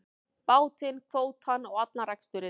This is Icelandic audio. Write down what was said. Bátinn, kvótann og allan reksturinn.